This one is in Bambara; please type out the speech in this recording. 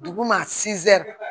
Duguma